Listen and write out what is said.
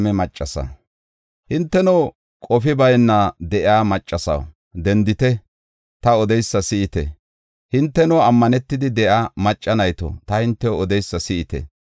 Hinteno qofi bayna de7iya maccasaw, dendite; ta odeysa si7ite; hinteno ammanetidi de7iya macca nayto, ta hintew odeysa si7ite.